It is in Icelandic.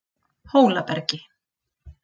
Hólabergi